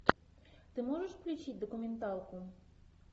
ты можешь включить документалку